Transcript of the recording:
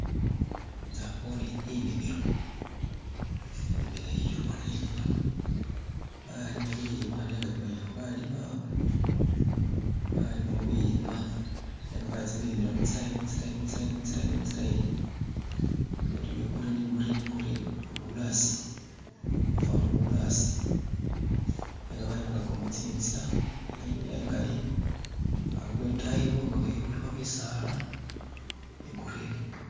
nabone enimilo, enimilo eyu bona enimilo balima bilimwa nanga ebimanyikha ,balimamo bilimwa nenga babilimila mutsilayini mutsilayini mutsilayini, bintu bye gurini gurini guruni mbo bulatsi, bwafano ori bulatsi nenga bayikhurakhamo tsitsila nenga enimilo engali, hari kwetayikho khuliko bitsaala bye gurini